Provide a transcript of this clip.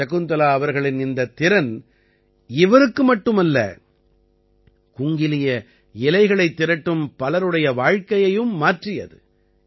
சகுந்தலா அவர்களின் இந்தத் திறன் இவருக்கு மட்டுமல்ல குங்கிலிய இலைகளைத் திரட்டும் பலருடைய வாழ்க்கையையும் மாற்றியது